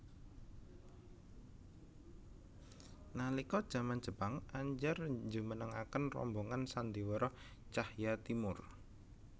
Nalika jaman Jepang Andjar njumenengaken rombongan sandhiwara Tjahja Timoer